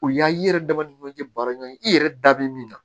U y'a ye i yɛrɛ dama ni ɲɔgɔncɛ baara ɲɔgɔn i yɛrɛ da bɛ min na